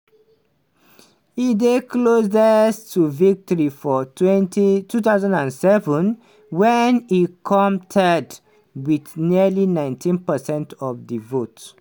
e dey closest to victory for 2007 wen e come third wit nearly 19 percent of di vote.